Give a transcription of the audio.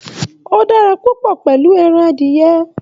O dára papọ pẹlú ẹran adiyẹ́.